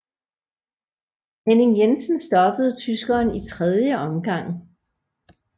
Henning Jensen stoppede tyskeren i 3 omgang